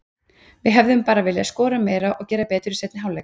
Við hefðum bara viljað skora meira og gera betur í seinni hálfleik.